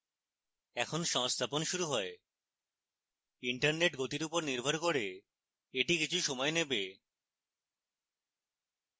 এখন সংস্থাপন শুরু হয় internet গতির উপর নির্ভর করে the কিছু সময় নেবে